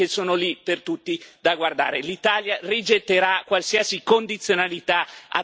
L'Italia rigetterà qualsiasi condizionalità attaccata a nuovi fondi legati all'eurozona.